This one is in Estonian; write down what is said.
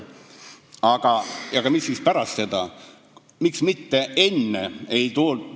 Aga miks alles pärast selgitati?